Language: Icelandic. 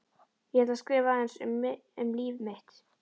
Ég ætla að skrifa aðeins um líf mitt.